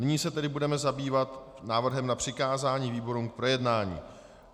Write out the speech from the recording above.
Nyní se tedy budeme zabývat návrhem na přikázání výborům k projednání.